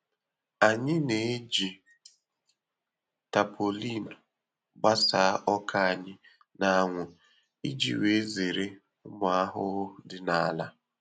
Anyị n'eji tapaulin gbasa ọka anyị na-anwụ iji wee zere ụmụ ahụhụ dị n'ala.